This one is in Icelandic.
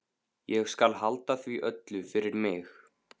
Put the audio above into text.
Ég skal halda því öllu fyrir mig.